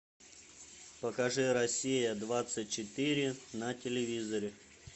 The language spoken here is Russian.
покажи россия двадцать четыре на телевизоре